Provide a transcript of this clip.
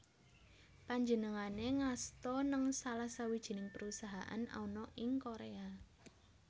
Panjenengané ngasta nèng salah sawijining perusahaan ana ing Korea